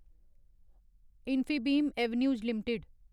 Infibeam Avenues limited